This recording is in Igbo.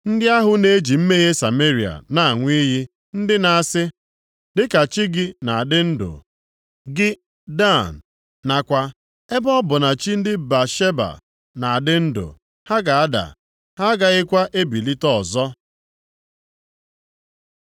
Ndị ahụ na-eji mmehie Sameria na-aṅụ iyi, + 8:14 Nʼaha Ashima bụ arụsị ndị na-asị, ‘Dịka chi gị na-adị ndụ, gị Dan,’ nakwa, ‘Ebe ọ bụ na chi ndị Bịasheba na-adị ndụ,’ ha ga-ada, ha agakwaghị ebilite ọzọ.”